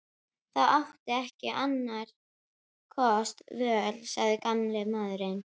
Þú átt ekki annarra kosta völ sagði gamli maðurinn.